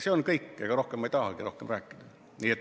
See on kõik, ega ma rohkem ei tahagi rääkida.